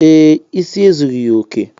Ee, isi ezughi ya oke